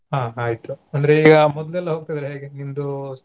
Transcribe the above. ಹಾ ಆಯಿತು ಅಂದ್ರೆ ಅಹ್ ಮೊದ್ಲೆಲ್ಲಾ ಹೋಗತಿದ್ರಲ್ಲಾ ಹೇಗೆ ನಿಮ್ದು.